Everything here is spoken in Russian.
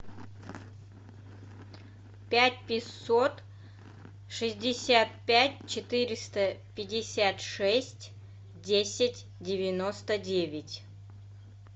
пять пятьсот шестьдесят пять четыреста пятьдесят шесть десять девяносто девять